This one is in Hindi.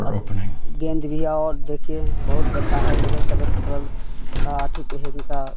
अब गेंद दिया और देखे बहुत बचा हैं सफेद सफेद कलर का हाथी पहन का--